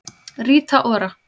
Rita Ora